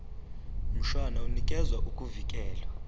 mshwana unikeza ukuvikelwa